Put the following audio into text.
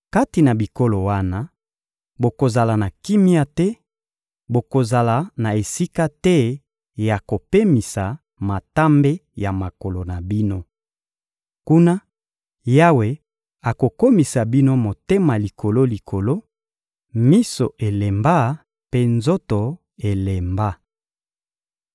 Kati na bikolo wana, bokozala na kimia te, bokozala na esika te ya kopemisa matambe ya makolo na bino. Kuna Yawe akokomisa bino motema likolo-likolo, miso elemba mpe nzoto elemba.